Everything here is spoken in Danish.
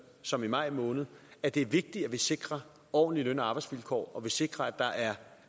som i maj måned at det er vigtigt at vi sikrer ordentlige løn og arbejdsvilkår og at vi sikrer